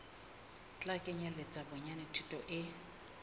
tla kenyeletsa bonyane thuto e